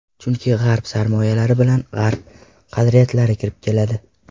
Chunki G‘arb sarmoyalar bilan G‘arb qadriyatlari kirib keladi.